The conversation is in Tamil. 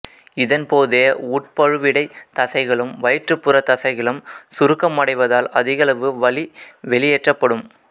இதன் போது உட் பழுவிடைத் தசைகளும் வயிற்றுப்புறத் தசைகளும் சுருக்கமடைவதால் அதிகளவு வளி வெளியேற்றப்படும்